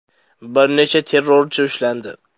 Bir necha terrorchi ushlandi.